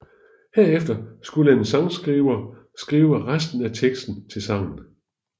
Herefter skulle en sangskriver skrive resten af teksten til sangen